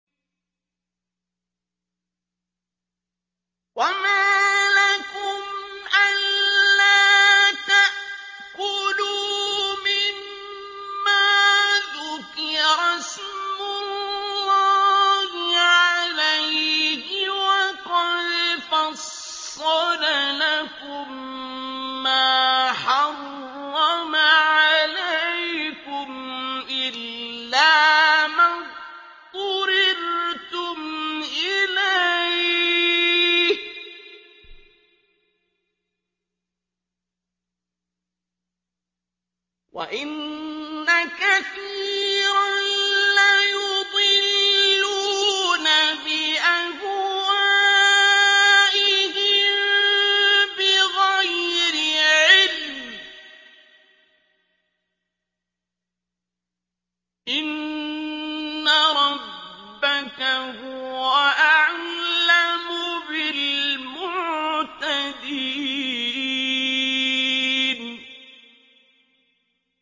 وَمَا لَكُمْ أَلَّا تَأْكُلُوا مِمَّا ذُكِرَ اسْمُ اللَّهِ عَلَيْهِ وَقَدْ فَصَّلَ لَكُم مَّا حَرَّمَ عَلَيْكُمْ إِلَّا مَا اضْطُرِرْتُمْ إِلَيْهِ ۗ وَإِنَّ كَثِيرًا لَّيُضِلُّونَ بِأَهْوَائِهِم بِغَيْرِ عِلْمٍ ۗ إِنَّ رَبَّكَ هُوَ أَعْلَمُ بِالْمُعْتَدِينَ